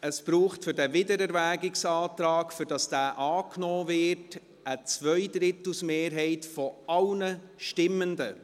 Es braucht für diesen Wiederwägungsantrag, damit dieser angenommen wird, eine Zweidrittelsmehrheit aller Stimmenden.